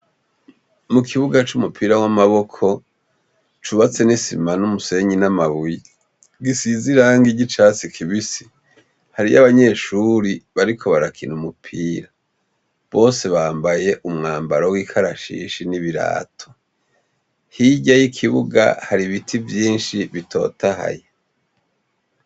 Ku kibuga c'umupira w'amaboko, cubatse n'isima n'umusenyi n'amabuye. Gisize irangi ry'icatsi kibisi. Hariyo abanyeshuri bariko barakina umupira. Bose bambaye umwambaro w'ikarashishi n'ibirato. Hirya y'ikibuga hari ibiti vyinshi bitotahaye.